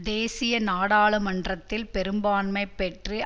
தேசிய நாடாளுமன்றத்தில் பெரும்பான்மை பெற்று